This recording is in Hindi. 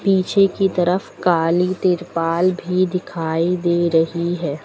पीछे की तरफ काली तिरपाल भी दिखाई दे रही है।